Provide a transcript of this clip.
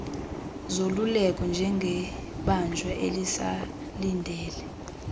zoluleko njengebanjwa elisalindele